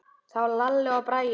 Þá Lalli og Bragi.